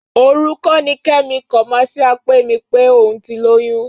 Òru kọ́ ni Kẹ́mi kọ̀máṣíà pè mí pé òun ti lóyún?